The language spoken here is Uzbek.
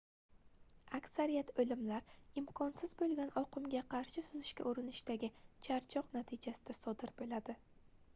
aksariyat oʻlimlar imkonsiz boʻlgan oqimga qarshi suzishga urinishdagi charchoq natijasida sodir boʻladi